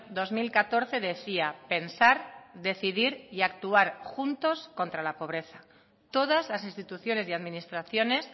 dos mil catorce decía pensar decidir y actuar juntos contra la pobreza todas las instituciones y administraciones